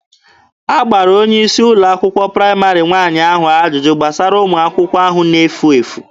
A gbara onye isi ụlọ akwụkwọ praịmarị nwaanyị ahụ ajụjụ gbasara ụmụ akwụkwọ ahụ na-efu efu.